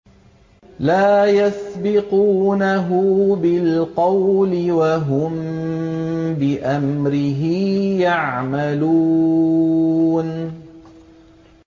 لَا يَسْبِقُونَهُ بِالْقَوْلِ وَهُم بِأَمْرِهِ يَعْمَلُونَ